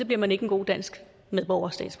bliver man ikke en god dansk medborger